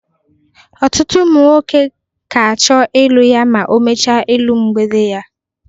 otutụ umu nwọke ka acho ịlu ya ma o mecha ịlu mgbede ya.